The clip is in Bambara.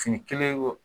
Fini kelen wo